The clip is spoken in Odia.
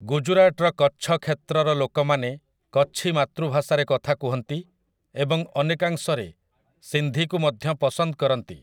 ଗୁଜୁରାଟର କଚ୍ଛ୍ କ୍ଷେତ୍ରର ଲୋକମାନେ କଚ୍ଛି ମାତୃଭାଷାରେ କଥା କୁହନ୍ତି, ଏବଂ ଅନେକାଂଶରେ ସିନ୍ଧିକୁ ମଧ୍ୟ ପସନ୍ଦ କରନ୍ତି ।